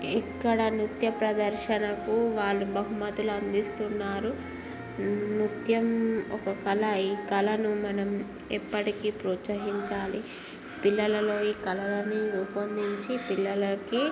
ఇక్కడ నృత్య ప్రదర్శన కు వాళ్ళు బహుమతులు అందిస్తునారు నృత్యం ఒక కళా ఈ కళను మనం ఎప్పటికీ ప్రోత్సాహించాలి పిల్లలలో ఈ కళను రూపొందించి పిల్లలకి--